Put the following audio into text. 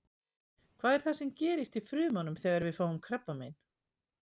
Hvað er það sem gerist í frumunum þegar við fáum krabbamein?